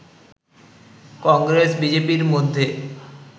কংগ্রেস-বিজেপি-র মধ্যে